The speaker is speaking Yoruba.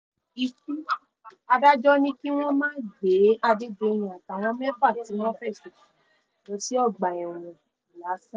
nítorí ọ̀daràn tó sá lọ lọ́gbà ẹ̀wọ̀n ilé-ẹjọ́ ránṣẹ́ pe wọ́dà